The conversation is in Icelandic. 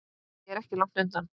Ég er ekki langt undan.